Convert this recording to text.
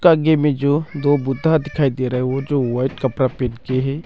आगे में जो दो बुद्धा दिखाई दे रहा है वो जो वाइट कपड़ा पहन के है।